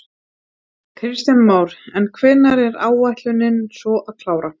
Kristján Már: En hvenær er ætlunin svo að klára?